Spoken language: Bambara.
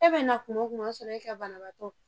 E be na kuma wo kuma o ya sɔrɔ e ka banabaatɔ